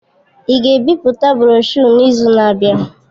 Ị ga-ebipụta broshuọ n'izu na-abịa?